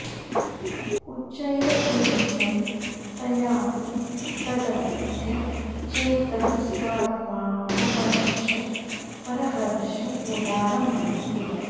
उच्चैरकिञ्चन तयापि तदध्य चेतः स्वात्मा वमर्श परहर्ष मुदारमास्ते